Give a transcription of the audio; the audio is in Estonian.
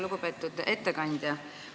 Lugupeetud ettekandja!